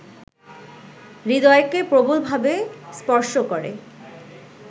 হৃদয়কে প্রবলভাবে স্পর্শ করে